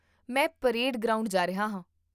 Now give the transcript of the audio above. ਮੈਂ parade ground ਜਾ ਰਿਹਾ ਹਾਂ